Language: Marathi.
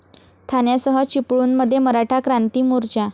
ठाण्यासह चिपळूणमध्ये मराठा क्रांती मोर्चा